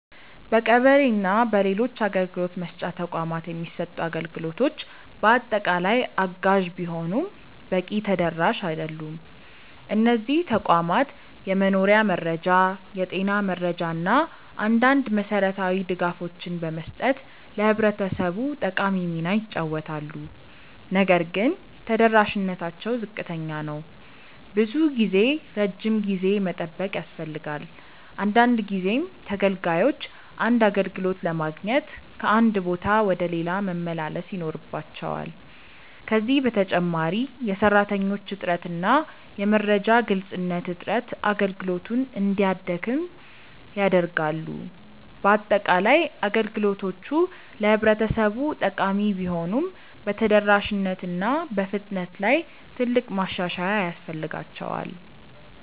በቀበሌ እና በሌሎች አገልግሎት መስጫ ተቋማት የሚሰጡት አገልግሎቶች በአጠቃላይ አጋዥ ቢሆኑም በቂ ተደራሽ አይደሉም። እነዚህ ተቋማት የመኖሪያ መረጃ፣ የጤና መረጃ እና አንዳንድ መሠረታዊ ድጋፎችን በመስጠት ለህብረተሰቡ ጠቃሚ ሚና ይጫወታሉ። ነገር ግን ተደራሽነታቸው ዝቅተኛ ነው። ብዙ ጊዜ ረጅም ጊዜ መጠበቅ ያስፈልጋል፣ አንዳንድ ጊዜም ተገልጋዮች አንድ አገልግሎት ለማግኘት ከአንድ ቦታ ወደ ሌላ መመላለስ ይኖርባቸዋል። ከዚህ በተጨማሪ የሰራተኞች እጥረት እና የመረጃ ግልጽነት እጥረት አገልግሎቱን እንዲያደክም ያደርጋሉ። በአጠቃላይ፣ አገልግሎቶቹ ለህብረተሰቡ ጠቃሚ ቢሆኑም በተደራሽነት እና በፍጥነት ላይ ትልቅ ማሻሻያ ያስፈልጋቸዋል።